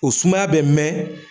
O sumaya bɛ mɛn